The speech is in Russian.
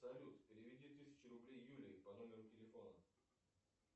салют переведи тысячу рублей юлии по номеру телефона